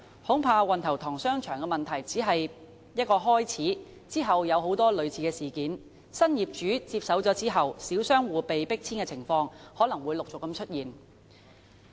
恐怕運頭塘商場的問題只是一個開始，日後很多類似事件如當新業主接手後小商戶被迫遷的情況，可能會陸續出現。